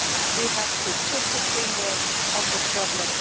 We have to put our finger on the problem